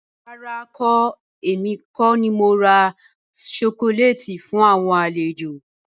Rárá, èmi kọ ni mora sokoléétì fún àwọn àlejò.